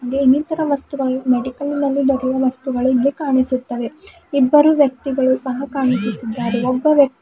ಇನ್ನಿತರ ವಸ್ತುಗಳು ಮೆಡಿಕಲ್ ನಲ್ಲಿ ದೊರೆಯುವ ವಸ್ತುಗಳು ಇಲ್ಲಿ ಕಾಣಿಸುತ್ತವೆ ಇಬ್ಬರು ವ್ಯಕ್ತಿಗಳು ಸಹ ಕಾಣಿಸುತ್ತಿದ್ದಾರೆ ಒಬ್ಬ ವ್ಯ--